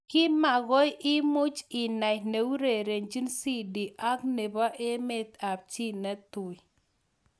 Kimakoi imuch inai neurerenjin Sidi ak nebo emet ab chi netui.